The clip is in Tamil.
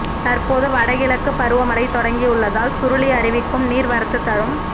தற்போது வடகிழக்குப் பருவ மழை தொடங்கியுள்ளதால் சுருளி அருவிக்கு நீா் வரத்து தரும்